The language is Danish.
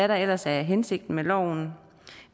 der ellers er hensigten med loven